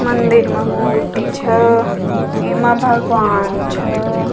मंदिर माँ मूर्ति छ एमा भगवान छ।